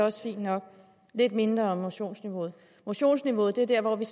også fint nok og lidt mindre om motionsniveauet motionsniveauet er dér hvor vi